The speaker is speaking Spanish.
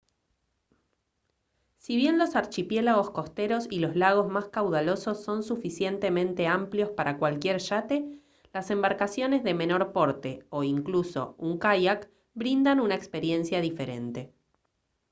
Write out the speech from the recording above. si bien los archipiélagos costeros y los lagos más caudalosos son suficientemente amplios para cualquier yate las embarcaciones de menor porte o incluso un kayak brindan una experiencia diferente